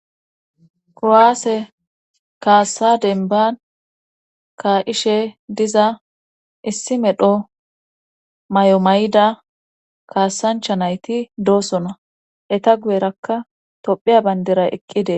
Kowaase kaassa denban kaa7ishe diza issi medho may7omayida kaassancha nayti doosona eta guyerakka tophiya bayndera eqqide..